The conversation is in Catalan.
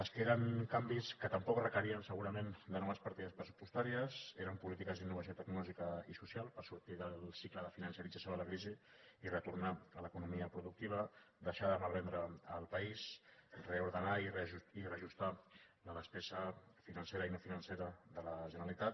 les que eren canvis que tampoc requerien segurament noves partides pressupostàries eren polítiques d’innovació tecnològica i social per sortir del cicle de financerització de la crisi i retornar a l’economia productiva deixar de malvendre el país reordenar i reajustar la despesa financera i no financera de la generalitat